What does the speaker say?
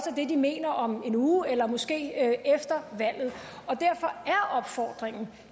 det de mener om en uge eller måske efter valget derfor er opfordringen